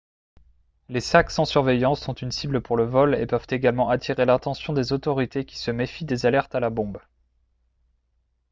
les sacs sans surveillance sont une cible pour le vol et peuvent également attirer l'attention des autorités qui se méfient des alertes à la bombe